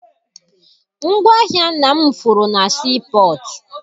Ngwaahịa nna m furu na sii pọtụ.